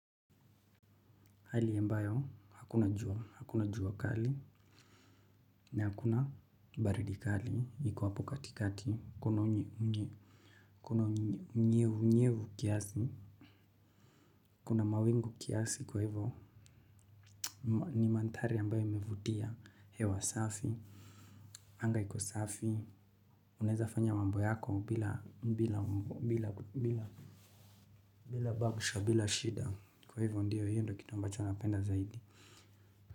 Hali ambayo hakuna jua hakuna jua kali. Na hakuna baridi kali iko hapo katikati kuna unye unye. Kuna nye unyevunyevu kiasi. Kuna mawingu kiasi kwa hivyo. Ni mandhari ambayo imevutia hewa safi. Anga iko safi. Unaweza fanya mambo yako bila bila bila bila bagsha bila shida kwa hivyo ndiyo hiyo ndo kitu ambacho napenda zaidi.